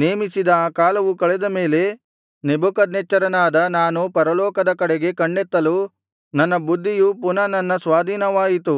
ನೇಮಿಸಿದ ಆ ಕಾಲವು ಕಳೆದ ಮೇಲೆ ನೆಬೂಕದ್ನೆಚ್ಚರನಾದ ನಾನು ಪರಲೋಕದ ಕಡೆಗೆ ಕಣ್ಣೆತ್ತಲು ನನ್ನ ಬುದ್ಧಿಯು ಪುನಃ ನನ್ನ ಸ್ವಾಧೀನವಾಯಿತು